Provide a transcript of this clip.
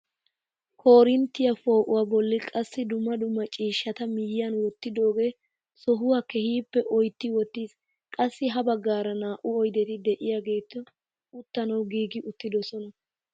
Korinttiyaa poo'uwaa bolli qassi dumma dumma ciishshata miyiyaan wottidoogee sohuwaa keehippe oytti wottiis. qassi ha baggaara naa"u oydeti de'iyaageti uttanawu giigi uttidoososna.